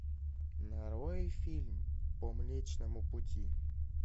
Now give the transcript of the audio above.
нарой фильм по млечному пути